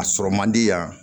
A sɔrɔ man di yan